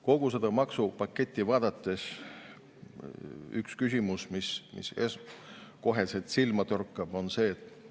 Kogu seda maksupaketti vaadates üks küsimus, mis kohe silma torkab, on.